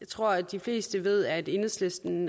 tror at de fleste ved at enhedslisten